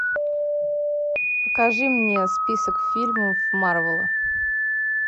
покажи мне список фильмов марвела